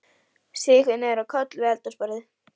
Sígur niður á koll við eldhúsborðið.